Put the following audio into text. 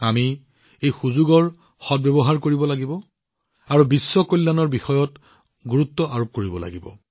আমি এই সুযোগৰ সম্পূৰ্ণ সদ্ব্যৱহাৰ কৰিব লাগিব আৰু গোলকীয় কল্যাণ বিশ্ব কল্যাণৰ ওপৰত গুৰুত্ব দিব লাগিব